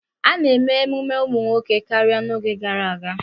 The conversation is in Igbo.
A na-eme ememe ụmụ nwoke karịa n'oge gara aga.